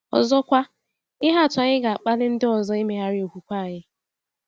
Ọzọkwa, ihe atụ anyị ga-akpali ndị ọzọ imegharị okwukwe anyị.